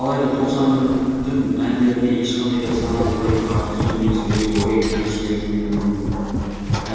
алайда тоқсан бірдің әндеріне ешқандай да сананы улайтын артық сөз немесе өзге той